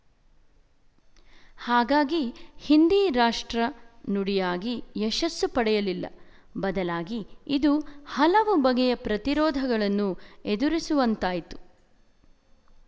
ಹಾಗಾಗಿ ಹಿಂದಿ ರಾಷ್ಟ್ರ ನುಡಿಯಾಗಿ ಯಶಸ್ಸು ಪಡೆಯಲಿಲ್ಲ ಬದಲಾಗಿ ಇದು ಹಲವು ಬಗೆಯ ಪ್ರತಿರೋಧಗಳನ್ನು ಎದುರಿಸುವಂತಾಯ್ತು